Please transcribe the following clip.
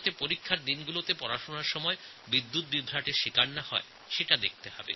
পরীক্ষার দিনগুলিতে বিদ্যুতের অভাবে গ্রামের বাচ্চাদের পড়াশোনার কোনও কষ্ট হবে না